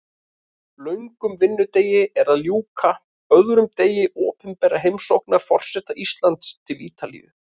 Löngum vinnudegi er að ljúka, öðrum degi opinberrar heimsóknar forseta Íslands til Ítalíu.